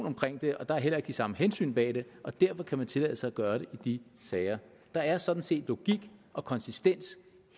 omkring det og der er heller ikke de samme hensyn bag det og derfor kan man tillade sig at gøre det i de sager der er sådan set logik og konsistens